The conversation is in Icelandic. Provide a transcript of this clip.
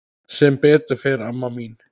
Sem betur fer amma mín.